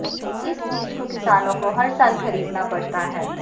इस बीज को किसानों को हर साल खरीदना पड़ता है